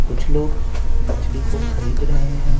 कुछ लोग मछली को खरीद रहे हैं।